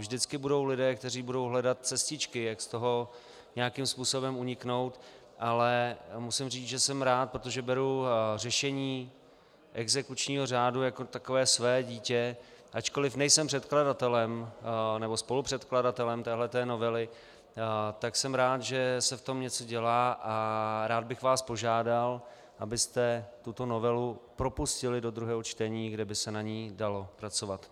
Vždycky budou lidé, kteří budou hledat cestičky, jak z toho nějakým způsobem uniknout, ale musím říci, že jsem rád, protože beru řešení exekučního řádu jako takové své dítě, ačkoliv nejsem předkladatelem nebo spolupředkladatelem této novely, tak jsem rád, že se v tom něco dělá, a rád bych vás požádal, abyste tuto novelu propustili do druhého čtení, kde by se na ní dalo pracovat.